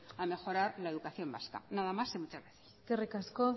a mejorar la educación vasca nada más y muchas gracias eskerrik asko